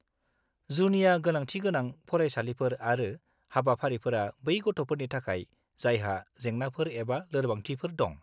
जुनिया गोनांथि गोनां फरायसालिफोर आरो हाबाफारिफोरा बै गथ'फोरनि थाखाय जायहा जेंनाफोर एबा लोरबांथिफोर दं।